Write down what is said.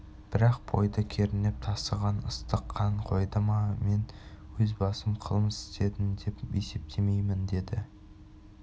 бірақ бойды кернеп тасыған ыстық қан қойды ма мен өз басым қылмыс істедім деп есептемеймін деді